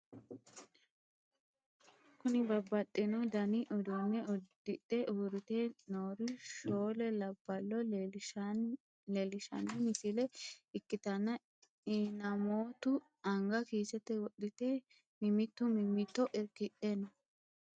Kuni babaxino dani udune udixe urite noore shoole labalo lelishan missile ikitana inanomitu anga kiseete wodhite mimitu mimito irkidhe no?